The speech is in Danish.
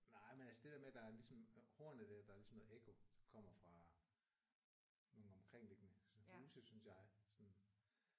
Nej men altså det der med der er ligesom hornet der der er ligesom noget ekko der kommer fra nogle omkringliggende sådan huse synes jeg sådan